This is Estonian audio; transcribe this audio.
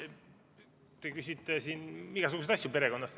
Te küsite siin igasuguseid asju perekonna kohta.